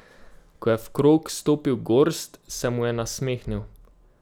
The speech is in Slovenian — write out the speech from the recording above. Ko je v krog stopil Gorst, se mu je nasmehnil.